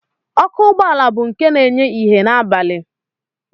Ọkụ ụgbọala bụ nke na-enye ìhè n'abalị